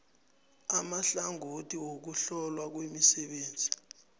amahlangothi wokuhlolwa kwemisebenzi